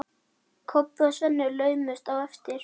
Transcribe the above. Kobbi og Svenni laumuðust á eftir.